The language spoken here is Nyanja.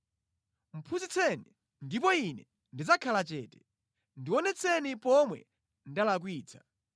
“Phunzitseni, ndipo ine ndidzakhala chete; ndionetseni pomwe ndalakwitsa.